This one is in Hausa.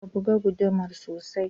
Ka buga gudumar sosai